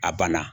A banna